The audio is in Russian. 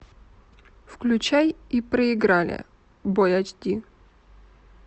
включай и проиграли бой айч ди